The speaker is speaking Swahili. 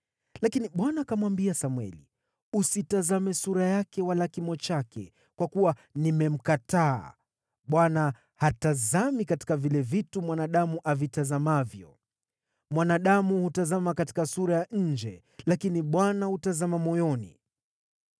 Lakini Bwana akamwambia Samweli, “Usitazame sura yake wala kimo chake, kwa kuwa nimemkataa. Bwana hatazami katika vile vitu mwanadamu avitazamavyo. Mwanadamu hutazama katika sura ya nje, lakini Bwana hutazama moyoni.”